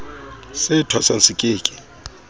se thwasang se ke ke